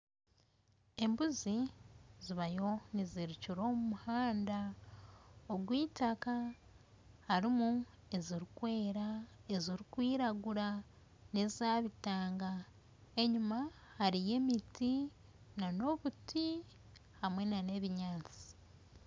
Embuzi zibayo nizirukira omu muhanda ogw'itaka. Harimu ezirikwera ezirikwiragura n'eza bitanga. Enyima hariyo emiti n'obuti hamwe n'ebinyaasi.